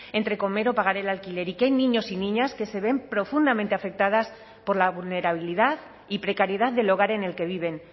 entre comer o pagar el alquiler y que hay niños y niñas que se ven profundamente afectadas por la vulnerabilidad y precariedad del hogar en el que viven